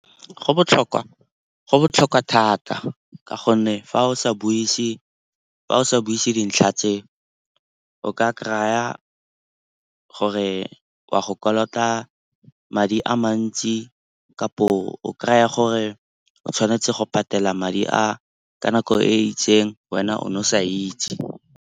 Go botlhokwa thata ka gonne fa o sa buise dintlha tse o ka kry-a gore wa go kolota madi a mantsi kapo o kry-a gore o tshwanetse go patela madi a ka nako e itseng wena o ne o sa itse.